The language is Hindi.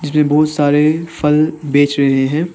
ये बहुत सारे फल बेच रहे हैं।